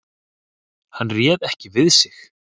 Hann réð ekki við sig.